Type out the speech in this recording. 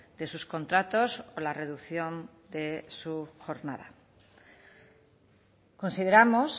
de sus contratos o la reducción de su jornada consideramos